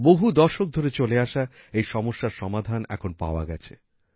বহু দশক ধরে চলে আসা এই সমস্যার সমাধান এখন পাওয়া গেছে